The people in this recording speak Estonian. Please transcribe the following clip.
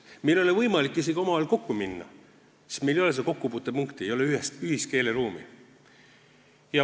Meil ei ole võimalik isegi omavahel kokku minna, sest meil ei ole kokkupuutepunkti, ei ole ühist keeleruumi.